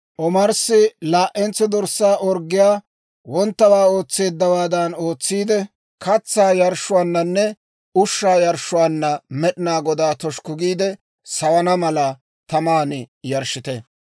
Omarssi laa"entso dorssaa orggiyaa, wonttawaa ootseeddawaadan ootsiide, katsaa yarshshuwaananne ushshaa yarshshuwaanna Med'inaa Godaa toshukku giide sawana mala, taman yarshshite.